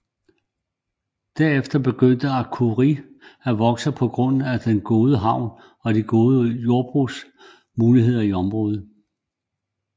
Derefter begyndte Akureyri at vokse på grund af den gode havn og de gode jordbrugsmuligheder i området